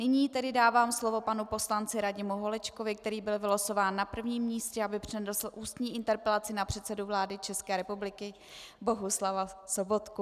Nyní tedy dávám slovo panu poslanci Radimu Holečkovi, který byl vylosován na prvním místě, aby přednesl ústní interpelaci na předsedu vlády České republiky Bohuslava Sobotku.